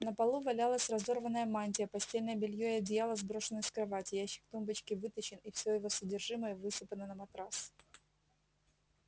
на полу валялась разорванная мантия постельное белье и одеяла сброшены с кровати ящик тумбочки вытащен и все его содержимое высыпано на матрас